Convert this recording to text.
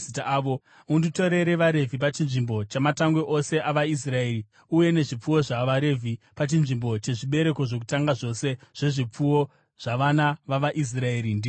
Unditorere vaRevhi pachinzvimbo chamatangwe ose avaIsraeri, uye nezvipfuwo zvavaRevhi pachinzvimbo chezvibereko zvokutanga zvose zvezvipfuwo zvavana vavaIsraeri. Ndini Jehovha.”